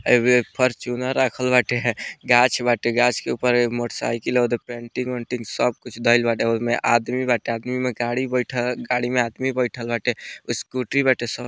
एमे एक फॉर्च्यूनर राखल बाटे है गाछ बाटे गाछ के ऊपर मोटर साइकिल ओदे पेंटिंग उन्टिंग सब कुछ धइल बाटे ओय में आदमी बाटे आदमी में गाड़ी बैठ गाड़ी में आदमी बइठल बाटे स्कूटी बाटे सब --